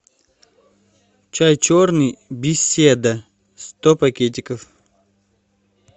чай черный беседа сто пакетиков